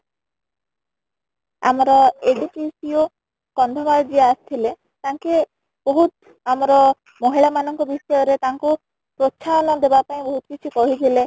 ଆମର କନ୍ଧମାଳ ଯିଏ ଆସି ଥିଲେ ତାଙ୍କେ ବହୁତ ଆମର ମହିଳା ମାନ ଙ୍କ ବିଷୟ ରେ ତାଙ୍କୁ ପ୍ରୋତ୍ସାହନ ଦେବା ପାଇଁ ବହୁତ କିଛି କହି ଥିଲେ